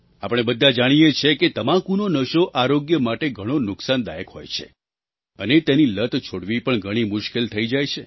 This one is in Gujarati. આપણે બધા જાણીએ છીએ કે તમાકુનો નશો આરોગ્ય માટે ઘણો નુકસાનદાયક હોય છે અને તેની લત છોડવી પણ ઘણી મુશ્કેલ થઈ જાય છે